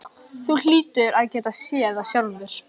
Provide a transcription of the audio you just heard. Þú hlýtur að geta séð það sjálfur.